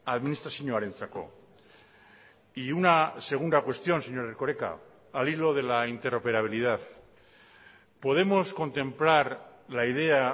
administrazioarentzako y una segunda cuestión señor erkoreka al hilo de la interoperabilidad podemos contemplar la idea